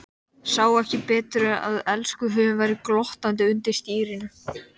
Sá ekki betur en að elskhuginn væri glottandi undir stýrinu.